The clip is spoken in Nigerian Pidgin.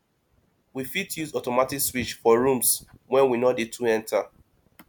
we fit use automatic switch for rooms wey we no dey too enter